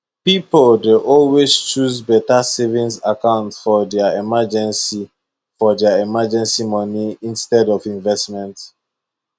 pipo dey always choose beta savings account for dia emergency for dia emergency moni instead of investment